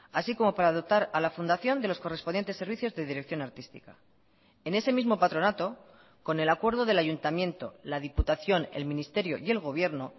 así como para dotar a la fundación de los correspondientes servicios de dirección artística en ese mismo patronato con el acuerdo del ayuntamiento la diputación el ministerio y el gobierno